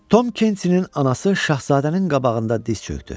Tom Kenti-nin anası şahzadənin qabağında diz çökdü.